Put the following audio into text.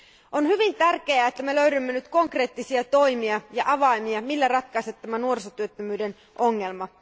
On hyvin tärkeää, että me löydämme nyt konkreettisia toimia ja avaimia, joilla ratkaista tämä nuorisotyöttömyyden ongelma.